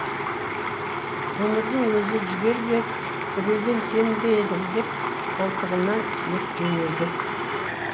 өмірдің өзі жігер беріп біреуден кем бе едің деп қолтығымнан сүйеп жөнелді